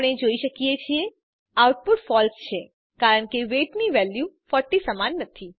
આપણે જોઈ શકીએ છીએ આઉટપુટ ફળસે છે કારણ કે વેઇટ ની વેલ્યુ 40 સમાન નથી